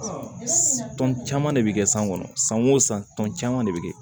T tɔn caman de bɛ kɛ san kɔnɔ san o san tɔn caman de bɛ kɛ